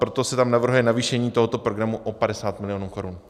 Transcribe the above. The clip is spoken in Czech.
Proto se tam navrhuje navýšení tohoto programu o 50 mil. korun.